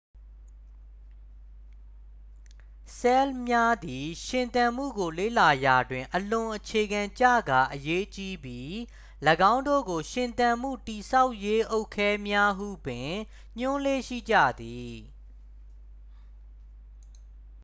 "ဆဲလ်များသည် ရှင်သန်မှုကို လေ့လာရာတွင် အလွန်အခြေခံကျကာအရေးကြီးပြီး ၎င်းတို့ကို "ရှင်သန်မှု တည်ဆောက်ရေးအုတ်ခဲများ" ဟုပင် ညွှန်းလေ့ရှိကြသည်။